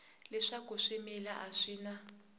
leswaku swimila a swi na